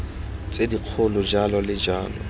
tse dikgolo jalo le jalo